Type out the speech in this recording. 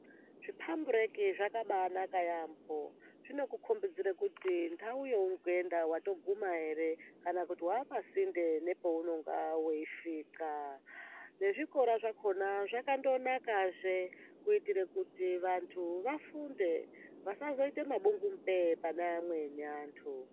Zvipambireki zvakabaanaka yaambo zvinokukombidzire kuti ndau yeuri kuenda waakuguma here kana kuti waapasinde nepaunonga weisvika. Nezvikora zvakona zvakandonakazve kuitire kuti vantu vafunde, vasazoita mabungupe-e pane antu.